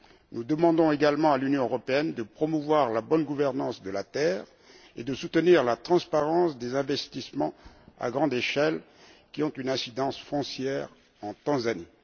Nous demandons également à l'Union européenne de promouvoir la bonne gouvernance de la terre et de soutenir la transparence des investissements à grande échelle qui ont une incidence foncière en Tanzanie.